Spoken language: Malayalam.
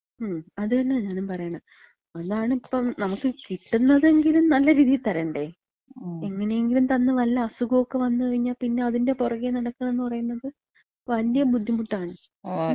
മ്. അത് തന്നെയാണ് ഞാനും പറയണത്. അതാണിപ്പം, നമക്ക് കിട്ട്ന്നതെങ്കിലും നല്ല രീതീ തരണ്ടേ? എങ്ങനെയെങ്കിലും തന്ന് വല്ല അസുഖൊക്കെ വന്ന് കഴിഞ്ഞാ പിന്നെ അതിന്‍റെ പൊറകെ നടക്കാണ്ന്ന് പറയുമ്പോ, വല്യ ബുദ്ധിമുട്ടാണ്.